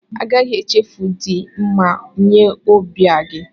A gaghị echefu idi mma nye ọbịa gị.